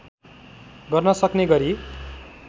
गर्न सक्ने गरी